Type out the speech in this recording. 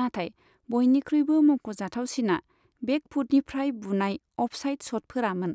नाथाय बयनिख्रुइबो मुंख'जाथावसिना बेकफुटनिफ्राय बुनाय अफसाइट शटफोरामोन।